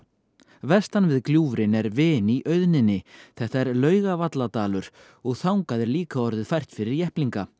vestan við gljúfrin er vin í auðninni þetta er og þangað er líka orðið fært fyrir jepplinga